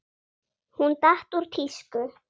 Hún datt úr tísku.